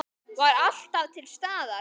Var alltaf til staðar.